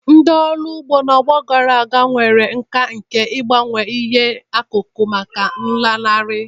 Ndị ọrụ ugbo, n'ọgbọ ndị gara aga, nwere nkà nke ịgbanwe ihe akụkụ maka nlanarị.